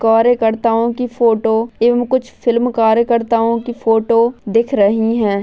कार्य करता की फोटो एवं कुछ फिल्म कार्यकर्ताओं की फोटो दिख रही है।